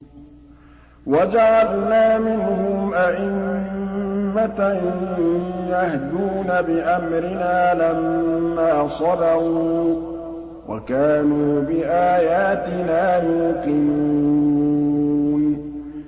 وَجَعَلْنَا مِنْهُمْ أَئِمَّةً يَهْدُونَ بِأَمْرِنَا لَمَّا صَبَرُوا ۖ وَكَانُوا بِآيَاتِنَا يُوقِنُونَ